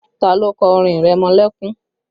Ta ló kọ orin ìrẹmọlẹ́kún?